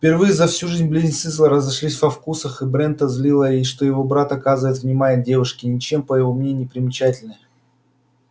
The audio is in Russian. впервые за всю жизнь близнецы разошлись во вкусах и брента злило что его брат оказывает внимание девушке ничем по его мнению не примечательной